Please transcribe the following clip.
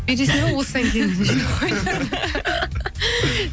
бересің бе осыдан кейін жинап қойыңдар